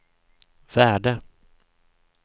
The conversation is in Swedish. värde